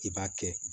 I b'a kɛ